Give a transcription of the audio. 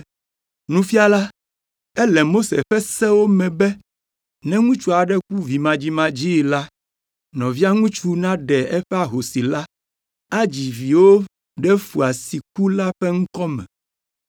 “Nufiala, ele Mose ƒe sewo me be ne ŋutsu aɖe ku vimadzimadzii la, nɔvia ŋutsu naɖe eƒe ahosi la, adzi viwo ɖe foa si ku la ƒe ŋkɔ me.